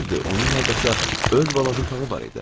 Düzdür, onun hardasa öz balaca otağı var idi.